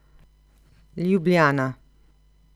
Ljubljana.